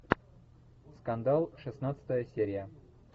скандал шестнадцатая серия